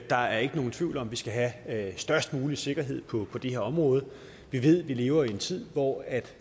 der er ikke nogen tvivl om at vi skal have have størst mulig sikkerhed på det her område vi ved at vi lever i en tid hvor